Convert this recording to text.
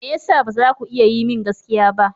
Me ya sa ba za ku iya yi min gaskiya ba?